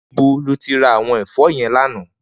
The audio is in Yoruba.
Nibó ló ti rá áwòn èfò yèn làná?